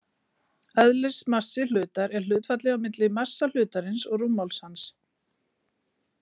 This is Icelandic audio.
Eðlismassi hlutar er hlutfallið á milli massa hlutarins og rúmmáls hans.